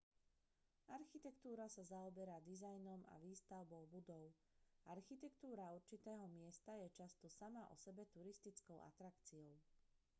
architektúra sa zaoberá dizajnom a výstavbou budov architektúra určitého miesta je často sama o sebe turistickou atrakciou